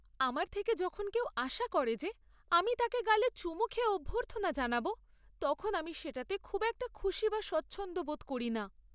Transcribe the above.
আমার থেকে যখন কেউ আশা করে যে আমি তাকে গালে চুমু খেয়ে অভ্যর্থনা জানাবো তখন আমি সেটাতে খুব একটা খুশি বা স্বচ্ছন্দ বোধ করি না।